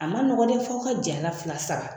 A man nɔgɔn dɛ fo aw ka jɛ a la fila saba